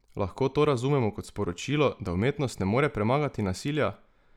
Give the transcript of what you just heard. Lahko to razumemo kot sporočilo, da umetnost ne more premagati nasilja?